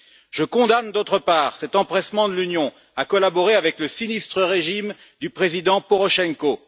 Je condamne, d'autre part, cet empressement de l'Union à collaborer avec le sinistre régime du président Porochenko.